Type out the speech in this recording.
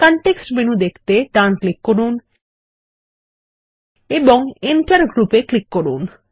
context menu দেখতে ডান click করুন এবং এন্টার গ্রুপ এ ক্লিক করুন